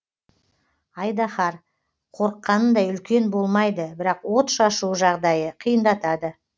айдаһар қорыққанындай үлкен болмайды бірақ от шашуы жағдайды қиындатады